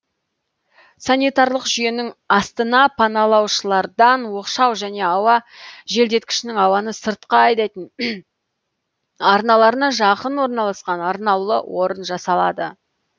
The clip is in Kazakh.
санитарлық жүйенің астына паналаушылардан оқшау және ауа желдеткішінің ауаны сыртқа айдайтын арналарына жақын орналасқан арнаулы орын жасалады